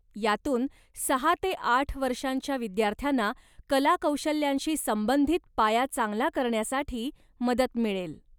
यातून सहा ते आठ वर्षांच्या विद्यार्थ्यांना कला कौशल्यांशी संबंधित पाया चांगला करण्यासाठी मदत मिळेल.